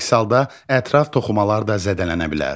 Əks halda ətraf toxumalar da zədələnə bilər.